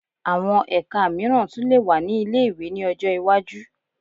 Àwọn ẹka mìíràn tún lè wà ní ilé-ìwé ní ọjọ́ iwájú